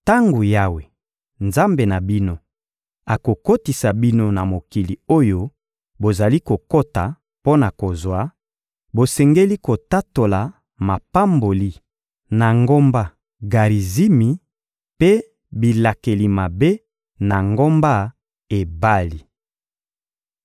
Tango Yawe, Nzambe na bino, akokotisa bino na mokili oyo bozali kokota mpo na kozwa, bosengeli kotatola mapamboli na ngomba Garizimi, mpe bilakeli mabe, na ngomba Ebali.